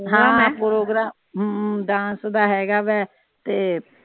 ਹਮ dance ਦਾ ਹੇਗਾ ਵੇ ਤੇ